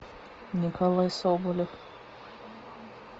николай соболев